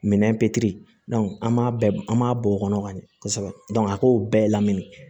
Minɛn an b'a an b'a bɔ o kɔnɔ ka ɲɛ kosɛbɛ a k'o bɛɛ lamini